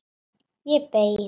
Ég beið.